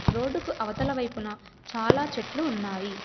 Road కు అవతల వైపున చాలా చెట్లు ఉన్నాయి.